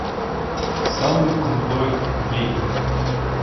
самый крутой день